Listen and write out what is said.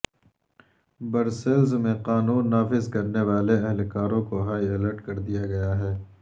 Brussels میں قانون نافذ کرنے والے اہلکاروں کو ہائی الرٹ کر دیا گیا ہے